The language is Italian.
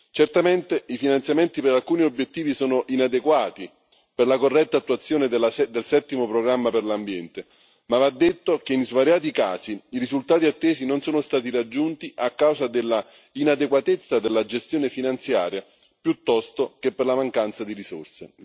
Certamente i finanziamenti per alcuni obiettivi sono inadeguati per la corretta attuazione del settimo programma per l'ambiente ma va detto che, in svariati casi, i risultati attesi non sono stati raggiunti a causa della inadeguatezza della gestione finanziaria piuttosto che per la mancanza di risorse.